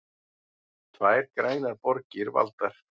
Tvær grænar borgir valdar